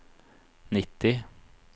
nitti